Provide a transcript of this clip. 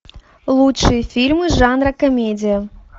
лучшие фильмы жанра комедия